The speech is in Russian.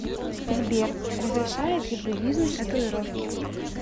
сбер разрешает ли буддизм татуировки